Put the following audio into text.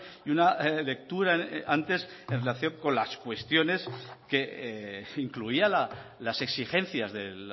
y una lectura antes en relación con las cuestiones que incluía las exigencias de